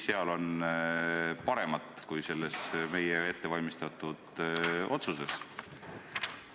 Mis seal on paremat kui selles meie ettevalmistatud otsuses?